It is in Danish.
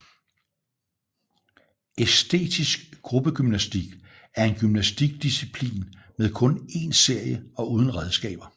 Æstetisk gruppegymnastik er en gymnastik disciplin med kun en serie og uden redskaber